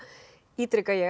ítreka ég að